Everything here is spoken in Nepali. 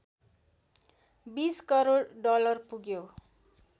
२० करोड डलर पुग्यो